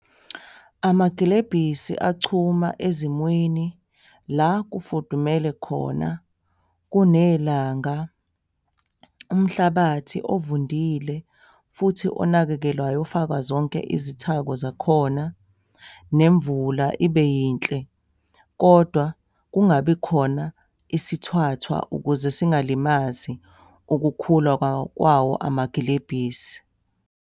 Amagilebhisi achuma ezimweni la kufudumele khona, kunelanga, umhlabathi ovundile futhi onakekelwayo ofakwa zonke izithako zakhona, nemvula ibe yinhle, kodwa kungabi khona isithwathwa ukuze singalimazi ukukhula kwawo amagilebhisi.